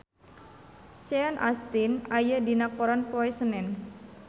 Sean Astin aya dina koran poe Senen